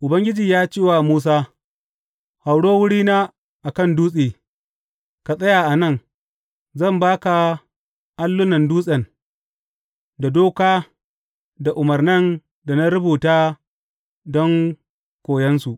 Ubangiji ya ce wa Musa, Hauro wurina a kan dutse, ka tsaya a nan, zan ba ka allunan dutsen, da doka da umarnan da na rubuta don koyonsu.